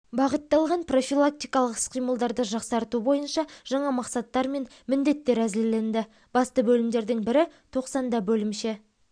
бағытталған профилактикалық іс-қимылдарды жақсарту бойынша жаңа мақсаттар мен міндеттер әзірленді басты бөлімдердің бірі тоқсанда бөлімше